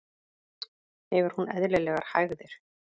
Hefur hún eðlilegar hægðir?